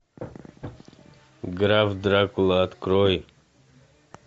граф дракула открой